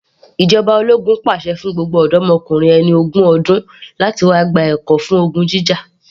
Ìjọba ológun pàṣẹ fún gbogbo ọ̀dọ́mokùnrin ẹni ọdún ogún láti wá gba ẹ̀kọ́ fún ogun jíjà